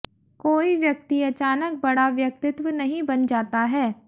कोई व्यक्ति अचानक बड़ा व्यक्तित्व नहीं बन जाता है